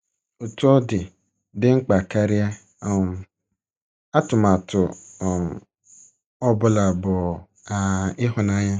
Otú ọ dị, dị mkpa karịa um atụmatụ um ọ bụla, bụ um ịhụnanya.